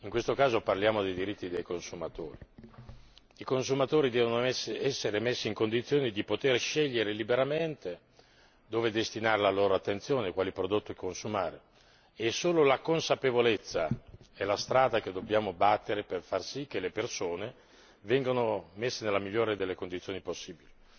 In questo caso si tratta dei diritti dei consumatori. I consumatori devono essere messi in condizione di poter scegliere liberamente dove destinare la loro attenzione e quali prodotti consumare e solo la consapevolezza è la strada che dobbiamo battere per far sì che le persone vengano messe nella migliore delle condizioni possibili.